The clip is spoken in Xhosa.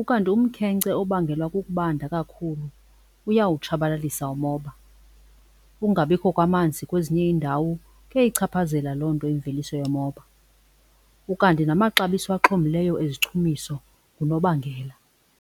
ukanti umkhenkce obangela ukubanda kakhulu uyawutshabalalisa umoba. Ukungabikho kwamanzi kwezinye iindawo kuyayichaphazela loo nto imveliso yomoba ukanti namaxabiso axhomileyo ezichumiso ngunobangela.